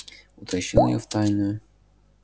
утащил её в тайную